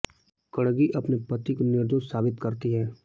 कणगी अपने पति को निर्दोष साबित करती है